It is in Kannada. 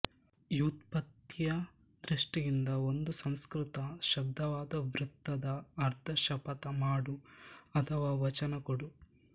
ವ್ಯುತ್ಪತ್ತಿಯ ದೃಷ್ಟಿಯಿಂದ ಒಂದು ಸಂಸ್ಕೃತ ಶಬ್ದವಾದ ವ್ರತದ ಅರ್ಥ ಶಪಥ ಮಾಡು ಅಥವಾ ವಚನ ಕೊಡು